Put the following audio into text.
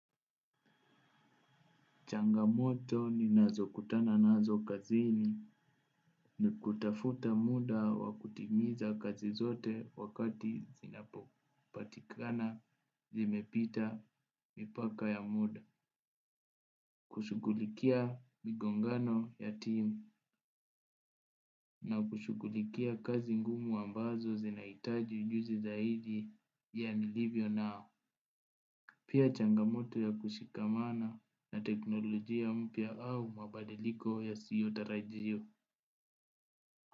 Changamoto ninazo kutana nazo kazini ni kutafuta muda wa kutimiza kazi zote wakati zinapopatikana zimepita mipaka ya muda. Kushughulikia mgongano ya timu na kushughulikia kazi ngumu ambazo zinahitaji ujuzi zaidi pia nilivyo nao. Pia changamoto ya kushikamana na teknolojia mpya au mabadiliko yasiyo tarajiwa.